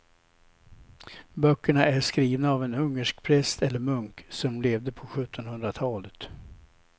Böckerna är skrivna av en ungersk präst eller munk som levde på sjuttonhundratalet.